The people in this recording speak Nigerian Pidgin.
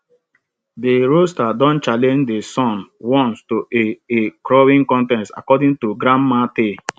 de rooster don challenge de sun once to a a crowing contest according to grandma tale